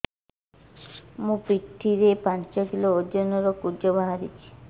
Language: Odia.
ମୋ ପିଠି ରେ ପାଞ୍ଚ କିଲୋ ଓଜନ ର କୁଜ ବାହାରିଛି